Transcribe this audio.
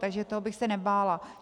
Takže toho bych se nebála.